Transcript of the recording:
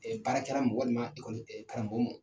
Ɛɛ baarakɛra mɔgɔ nin ma , Ɛɛ karamɔgɔ ma .